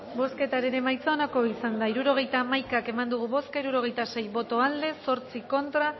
bozketaren emaitza onako izan da hirurogeita hamabi eman dugu bozka hirurogeita lau boto aldekoa ocho contra